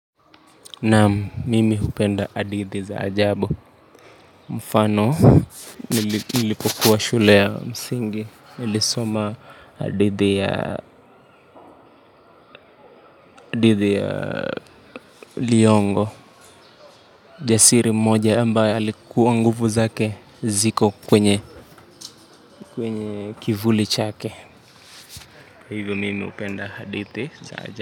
Naam mimi upenda adidi za ajabo. Mfano nilipokuwa shule ya msingi nilisoma dhidi ya Liyongo jasiri mmoja ambaye alikuwa nguvu zake ziko kwenye kwenye kivuli chake. Mimi hupenda hadithi za jadi.